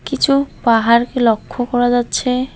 কিছু পাহাড়কে লক্ষ্য করে যাচ্ছে।